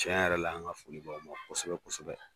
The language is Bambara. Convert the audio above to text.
Tiɲɛ yɛrɛ la, an ka foli bɛ aw ye kosɛbɛ kosɛbɛ.